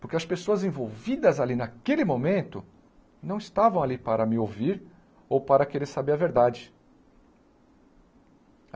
Porque as pessoas envolvidas ali naquele momento não estavam ali para me ouvir ou para querer saber a verdade.